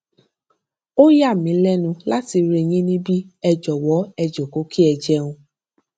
ó yà mí lẹnu láti rí yín níbí ẹ jọwọ ẹ jókòó kí ẹ jẹun